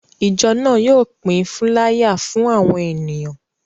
Ìjọ náà yóò pín fúláyà fún àwọn ènìyàn.